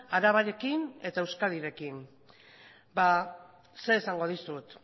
arabarekin eta euskadirekin zer esango dizut